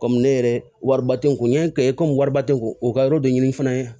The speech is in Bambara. Kɔmi ne yɛrɛ wariba tɛ n kun yan kɛ wariba tɛ n kun o ka yɔrɔ dɔ ɲini fana